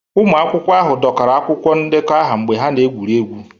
Ụmụ akwụkwọ ahụ dọkara akwụkwọ ndekọ aha mgbe ha na-egwuri egwu